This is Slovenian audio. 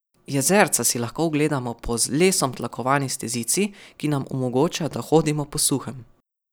Jezerca si lahko ogledamo po z lesom tlakovani stezici, ki nam omogoča, da hodimo po suhem.